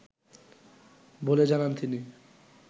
বলে জানান তিনি